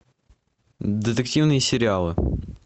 детективные сериалы